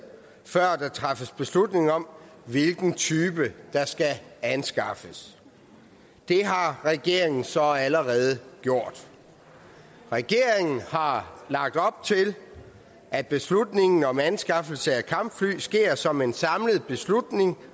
før der træffes beslutning om hvilken type der skal anskaffes det har regeringen så allerede gjort regeringen har lagt op til at beslutningen om anskaffelse af kampfly sker som en samlet beslutning